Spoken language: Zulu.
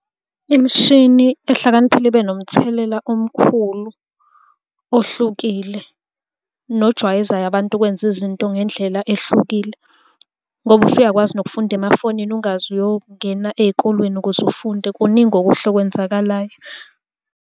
Imishini ehlakaniphile ibe nomthelela omkhulu ohlukile nojwayezayo abantu ukwenza izinto ngendlela ehlukile, ngoba usuyakwazi nokufunda emafonini ungaze uyongena ey'kolweni ukuze ufunde. Kuningi okuhle okwenzakalayo.